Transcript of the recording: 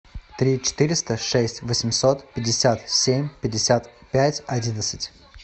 три четыреста шесть восемьсот пятьдесят семь пятьдесят пять одиннадцать